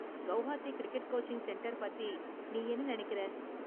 Guwahati cricket coaching centre பத்தி நீ என்ன நினைக்கிற?